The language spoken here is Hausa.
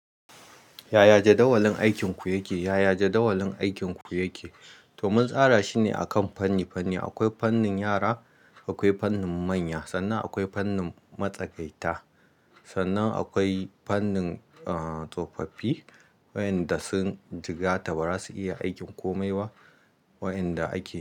Yaya jadawalin aikinku yake? Yaya jadawalin aikinku yake? To, mun tsara shi ne akan fanni-fanni. Akwai fannin yara, akwai fannin manya. Sannan akwai fannin matsakaita. Sannan akwai fannin, uh, tsofaffi waɗanda sun jigata bara, su iya aikin komai wa, waɗanda ake.